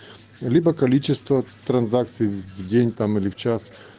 либо количество транзакций в день там или в час